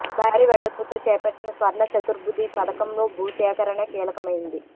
భారీ వెడల్పుతో చేపట్టిన స్వర్ణ చతుర్భుజి పథకంలో భూ సేకరణే కీలకమైంది